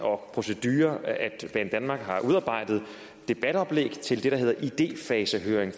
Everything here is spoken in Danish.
og procedure at banedanmark har udarbejdet debatoplæg til det der hedder idefasehøring